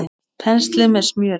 Penslið með smjöri.